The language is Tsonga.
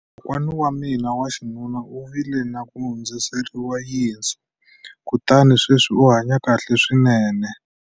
Kokwana wa mina wa xinuna u vile na ku hundziseriwa yinsu kutani sweswi u hanye kahle swinene.